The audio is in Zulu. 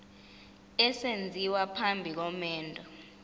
esenziwa phambi komendo